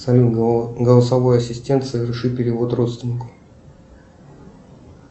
салют голосовой ассистент соверши перевод родственнику